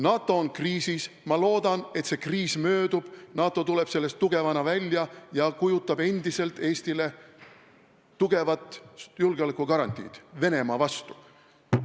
NATO on kriisis, ma loodan, et see kriis möödub, NATO tuleb sellest tugevana välja ja kujutab endiselt Eestile tugevat julgeolekugarantiid Venemaa vastu.